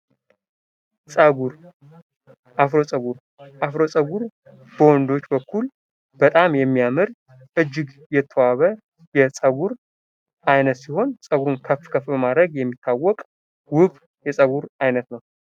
ፀጉር አፍሮ ፀጉር፡- አፍሮ ጸጉር በወንዶች በኩል በጣም የሚያምር እጅግ የተዋበ የፀጉር አይነት ሲሆን ፤ ፀጉርን ከፍ ከፍ በማድረግ የሚታወቅ ውብ የፀጉር አይነት ነው።